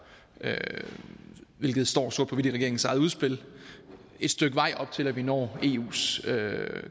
hvilket står sort på hvidt i regeringens eget udspil et stykke vej op til at vi når eus